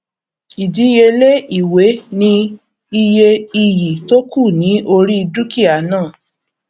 ìdíyelé ìwé ni iye iyì tó kù ní orí dúkìá náà